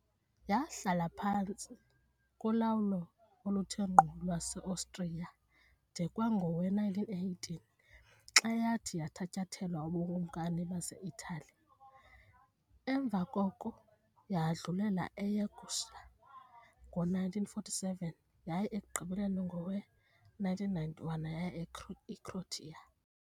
Yahlala iphantsi kolawulo oluthe ngqo lwaseOstriya de kwangowe-1918, xa yathi yathatyathelwa buBukumkani baseItali, emva koko yadlulela eYugoslavia ngo-1947 yaye ekugqibeleni, ngowe-1991, yaya eCroatia .